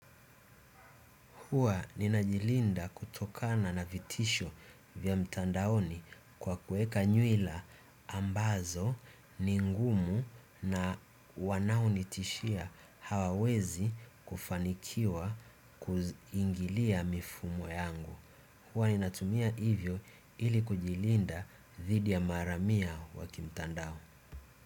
Hua ninajilinda kutokana na vitisho vya mtandaoni kwa kuweka nywila ambazo ni ngumu na wanaonitishia hawawezi kufanikiwa kuingilia mifumo yangu. Hua ninatumia hivyo ili kujilinda thidi ya maharamia wa kimtandao.